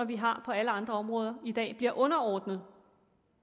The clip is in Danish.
vi har på alle andre områder i dag bliver underordnet